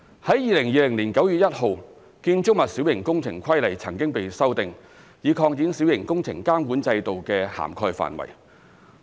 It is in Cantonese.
在2020年9月1日，《建築物規例》曾經被修訂，以擴展小型工程監管制度的涵蓋範圍。